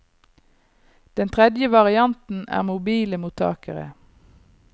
Den tredje varianten er mobile mottakere.